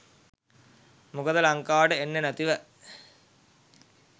මොකද ලංකාවට එන්නේ නැතිව